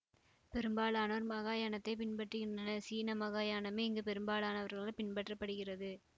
பெரும்பாலோர் மகாயாணத்தை பின்பற்றுகின்றனர் சீன மகாயாணமே இங்கு பெரும்பாலானவர்களால் பின்பற்ற படுகிறது